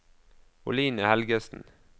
Oline Helgesen